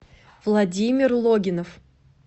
владимир логинов